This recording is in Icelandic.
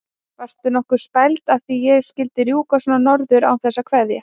Varstu nokkuð spæld að ég skyldi rjúka svona norður án þess að kveðja?